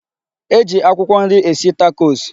E ji akwụkwọ nri esi takos.